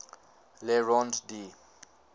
le rond d